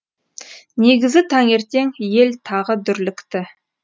негізі таңертең ел тағы дүрлікті